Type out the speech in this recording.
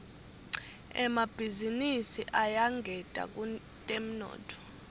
emabhizinisi ayangeta kutemnotfo